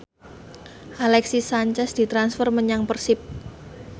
Alexis Sanchez ditransfer menyang Persib